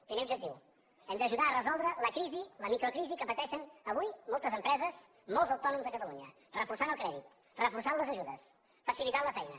primer objectiu hem d’ajudar a resoldre la crisi la microcrisi que pateixen avui moltes empreses molts autònoms de catalunya reforçant el crèdit reforçant les ajudes facilitant la feina